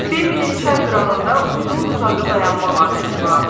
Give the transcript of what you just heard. Bembinin çay qırağında uzun-uzadı dayanmaq adəti vardı.